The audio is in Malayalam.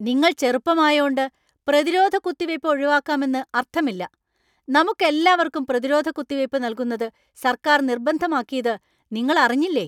നിങ്ങൾ ചെറുപ്പമായോണ്ട് പ്രതിരോധ കുത്തിവയ്പ്പ് ഒഴിവാക്കാമെന്ന് അർത്ഥമില്ല. നമുക്കെല്ലാവർക്കും പ്രതിരോധ കുത്തിവയ്പ്പ് നൽകുന്നത് സർക്കാർ നിർബന്ധമാക്കീത് നിങ്ങൾ അറിഞ്ഞില്ലേ ?